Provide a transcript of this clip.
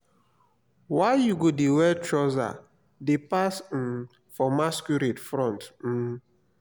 why you go dey wear trouser dey pass um for masquerade front um?